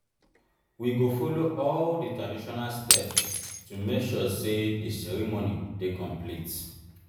we go follow all di traditional steps to make sure say di ceremony dey complete.